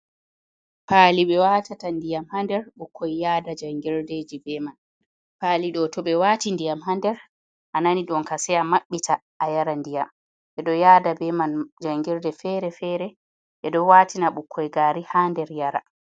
Paali ɓe watata ndiyam ha nder, ɓukkoi yada jangirdeji be man. paali ɗo to ɓe wati ndiyam ha nder a nani ɗonka se a maɓɓita a yara ndiyam. ɓedo yada beman jangirde fere-fere, ɓeɗo watina ɓukkoi gari ha nder yara.